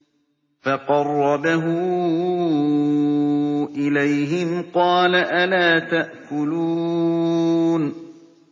فَقَرَّبَهُ إِلَيْهِمْ قَالَ أَلَا تَأْكُلُونَ